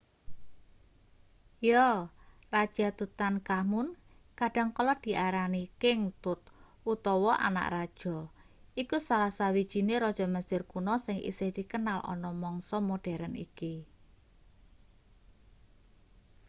yo raja tutankhamun kadang kala diarani king tut utawa anak raja iku salah sawijine raja mesir kuno sing isih dikenal ana mangsa moderen iki